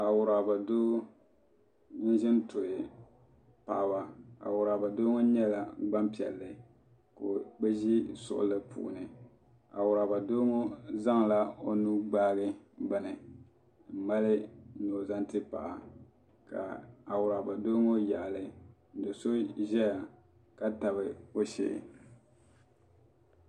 Awuraba doo zintuhi paɣaba Awuraba doo ŋɔ nyɛla gbampiɛlli ka bɛ ʒ. suɣuli puuni Awuraba doo ŋɔ zaŋla o nuu gbaagi bini m mali ni o zaŋ ti paɣa ka Awuraba doo ŋɔ yaɣali do'so zaya ka tabi o shee.